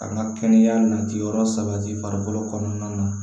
Ka na kɛnɛya nati yɔrɔ sabati farikolo kɔnɔna na